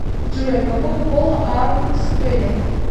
джой какого пола аарон спеллинг